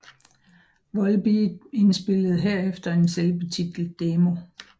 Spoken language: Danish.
Volbeat indspillede herefter en selvbetitlet demo